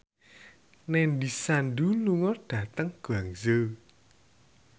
Nandish Sandhu lunga dhateng Guangzhou